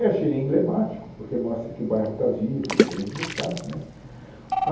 Eu achei ele emblemático, porque mostra que o bairro está vivo, está querendo lutar né.